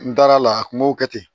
N dara a la a kun b'o kɛ ten